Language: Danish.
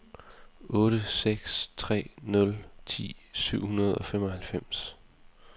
otte seks tre nul ti syv hundrede og femoghalvfems